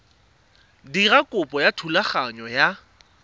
dira kopo ya thulaganyo ya